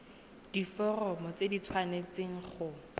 diforomo tse di tshwanesteng go